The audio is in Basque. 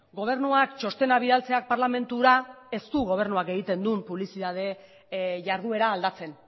gobernuak txostena bidaltzeak parlamentura ez du gobernuak egiten duen publizitate jarduera aldatzen